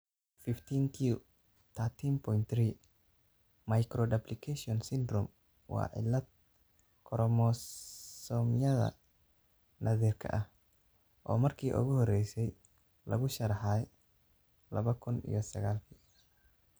15q13.3 microduplication syndrome waa cillad koromosoomyada naadir ah oo markii ugu horreysay lagu sharraxay laba kun iyo sagalki.